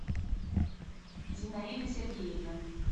зинаида сергеевна